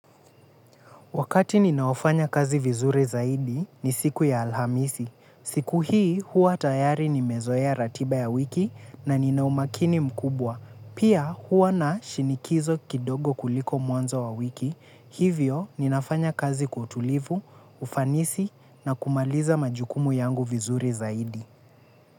Wakati ninaofanya kazi vizuri zaidi ni siku ya Alhamisi. Siku hii huwa tayari nimezoea ratiba ya wiki na nina umakini mkubwa. Pia huwa na shinikizo kidogo kuliko mwanzo wa wiki. Hivyo ninafanya kazi kwa utulivu, ufanisi na kumaliza majukumu yangu vizuri zaidi.